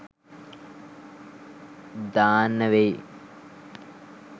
දාන්න වෙයි